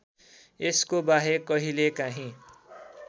यसको बाहेक कहिलेकाहिँ